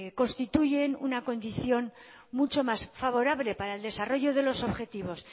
constituyen una condición mucho más favorable para el desarrollo de los objetivos